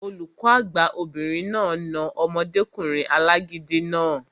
Olùkọ́ àgbà obìnrin náà na omọdékùnrin alágídí náà